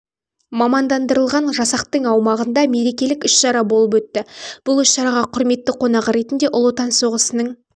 мамандандырылған жасақтың аумағында мерекелік іс-шара болып өтті бұл іс-шараға құрметті қонағы ретінде ұлы отан соғысының